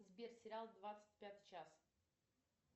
сбер сериал двадцать пятый час